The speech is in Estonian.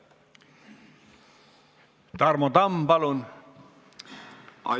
Tarmo Tamm, palun!